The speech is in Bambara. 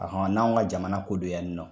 A hɔn n'anw ka jamana ko don yan nɔn